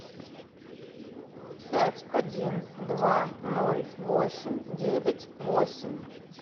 пять один два ноль восемь девять восемь